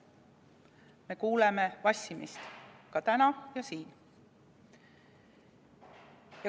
Me kuuleme vassimist ka täna ja siin.